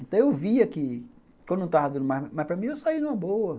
Então, eu via que quando não estava dando mais, mas para mim, eu saí numa boa.